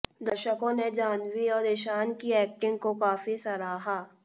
दर्शकों ने जाह्नवी और ईशान की एक्टिंग को काफी सराहा